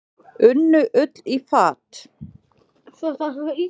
Unnu Ull í fat.